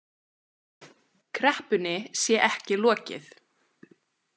Kreppunni sé ekki lokið